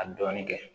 A dɔɔnin kɛ